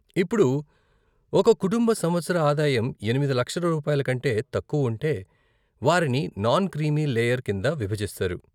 ఇప్పుడు, ఒక కుటుంబ సంవత్సర ఆదాయం ఎనిమిది లక్షల రూపాయలు కంటే తక్కువ ఉంటే వారిని నాన్ క్రీమీ లేయర్ కింద విభజిస్తారు.